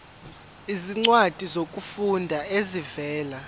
izincwadi zokufunda ezivela